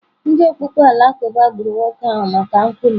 Ndị okpukpe Alakụba gburu nwoke ahụ maka nkwulu.